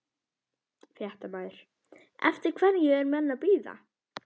Fréttamaður: Eftir hverju eru menn að bíða?